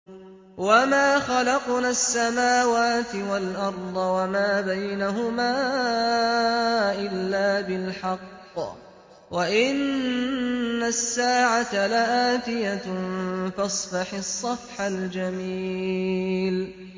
وَمَا خَلَقْنَا السَّمَاوَاتِ وَالْأَرْضَ وَمَا بَيْنَهُمَا إِلَّا بِالْحَقِّ ۗ وَإِنَّ السَّاعَةَ لَآتِيَةٌ ۖ فَاصْفَحِ الصَّفْحَ الْجَمِيلَ